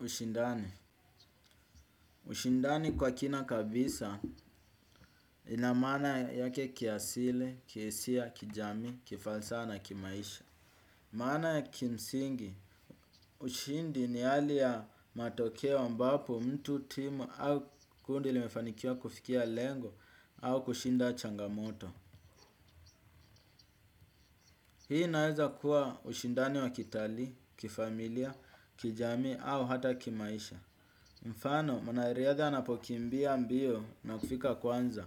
Ushindani. Ushindani kwa kina kabisa ina maana yake kiasili, kihisia, kijamii, kifalsaha na kimaisha. Maana ya kimsingi. Ushindi ni hali ya matokeo ambapo mtu timu au kundi limefanikiwa kufikia lengo au kushinda changamoto. Hii inaweza kuwa ushindani wa kitalii, kifamilia, kijamii au hata kimaisha. Mfano, mwanariadha anapokimbia mbio na kufika kwanza,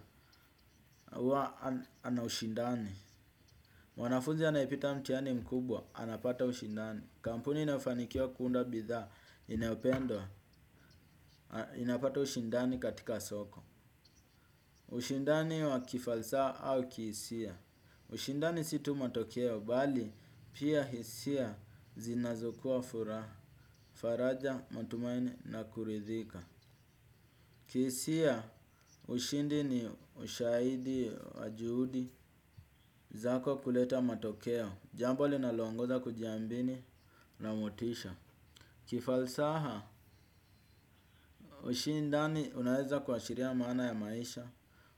huwa anaushindani. Mwanafuzi anayepita mtihani mkubwa, anapata ushindani. Kampuni inafanikiwa kuunda bithaa, inayopendwa, inapata ushindani katika soko. Ushindani wa kifalsaha au kihisia. Ushindani si tu matokeo bali, pia hisia zinazokua furaha, faraja, matumaini na kuridhika. Kihisia, ushindi ni ushahidi wa juhudi zako kuleta matokeo, jambo linaloongoza kujiambini na motisha. Kifalsaha, ushindani unaeza kuwashiria maana ya maisha,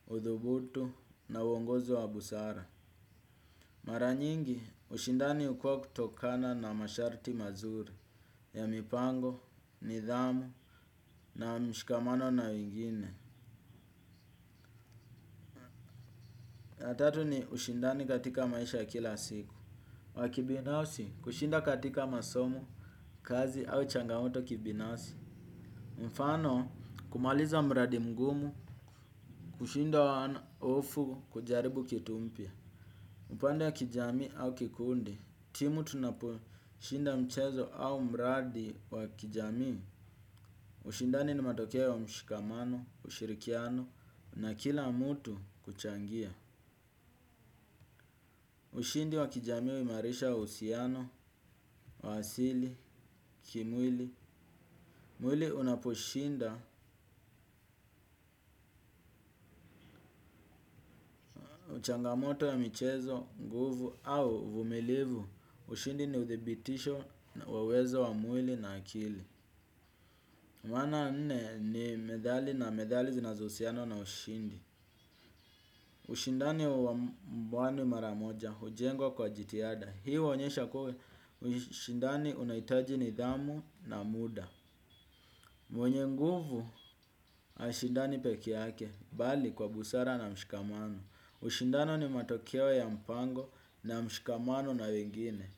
udhubutu na uongozi wa busara. Mara nyingi, ushindani hukuwa kutokana na masharti mazuri ya mipango, nidhamu na mshikamano na wengine. Na tatu ni ushindani katika maisha ya kila siku. Wa kibinafsi, kushinda katika masomo, kazi au changamoto kibinafsi. Mfano, kumaliza mradi mgumu, kushinda wano hofu kujaribu kitu mpya. Upande wa kijamii au kikundi, timu tunapo, shinda mchezo au mradi wa kijamii, ushindani ni matokeo wa mshikamano, ushirikiano, na kila mtu kuchangia. Ushindi wa kijamii huimarisha uhusiano, waasili, kimwili. Mwili unaposhinda, changamoto ya michezo, nguvu au uvumilivu. Ushindi ni uthibitisho wa uwezo wa mwili na akili. Mwana wa nne ni medhali na medhali zinazohusianwa na ushindi. Ushindani wa mbwani maramoja, hujengwa kwa jitihada. Hii huonyesha kua, ushindani unahitaji nidhamu na muda. Mwenye nguvu, hashindani peke yake, bali kwa busara na mshikamano. Ushindano ni matokeo ya mpango na mshikamano na wengine.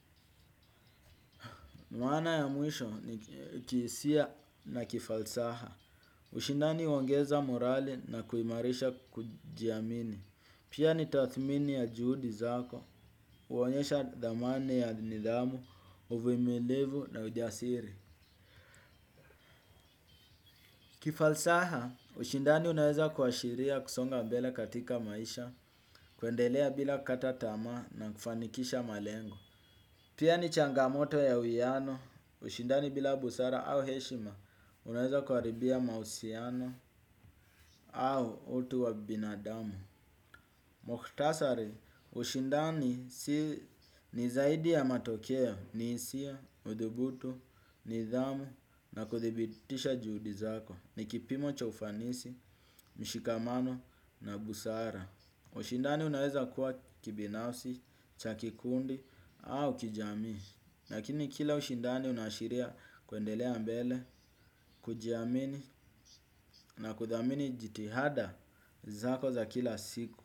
Maana ya mwisho ni kihisia na kifalsaha. Ushindani huongeza morali na kuimarisha kujiamini. Pia ni tathmini ya juhudi zako, huonyesha dhamani ya nidhamu, uvumilivu na ujasiri. Kifalsaha, ushindani unaweza kuashiria kusonga mbele katika maisha, kuendelea bila kukata tamaa na kufanikisha malengo. Pia ni changamoto ya uiano, ushindani bila busara au heshima, unaweza kuharibia mahusiano au utu wa binadamu. Muktasari ushindani si ni zaidi ya matokeo ni hisia, udhubutu, nidhamu na kuthibitisha juhudi zako ni kipimo cha ufanisi, mshikamano na busara. Ushindani unaweza kuwa kibinafsi, cha kikundi au kijamii. Lakini kila ushindani unaashiria kuendelea mbele, kujiamini na kuthamini jitihada zako za kila siku.